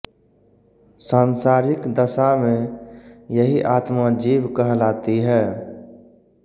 सांसारिक दशा में यही आत्मा जीव कहलाती है